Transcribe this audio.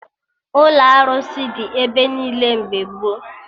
Ụlọ arụsị dị ebe niile mgbe gboo